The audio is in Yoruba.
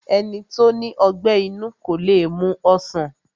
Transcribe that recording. Ẹni tó ní ọgbẹ́ inú kó le mu ọsàn